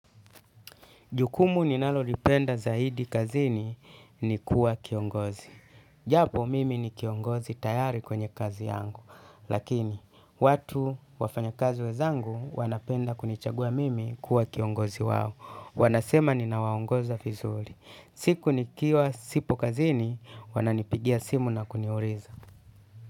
Jukumu ninalolipenda zaidi kazini ni kuwa kiongozi. Japo mimi ni kiongozi tayari kwenye kazi yangu. Lakini, watu wafanyakazi wenzangu wanapenda kunichagua mimi kuwa kiongozi wawo. Wanasema ninawaongoza vizuri. Siku nikiwa sipo kazini, wananipigia simu na kuniuliza.